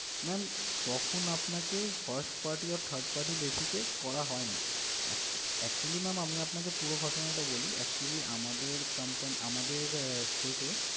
ma'am তখন আপনাকে first party or third party basis এ করা হয়নি আহ actually ma'am আমি আপনাকে পুরো ঘটনাটা বলি actually আমাদের company আমাদের state এ